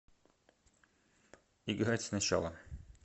играть сначала